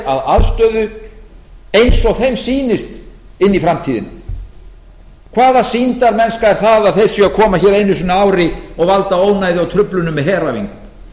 að aðstöðu eins og þeim sýnist inn í framtíðina hvaða sýndarmennska er það að þeir séu að koma hér einu sinni á ári og valda ónæði og truflunum með heræfingum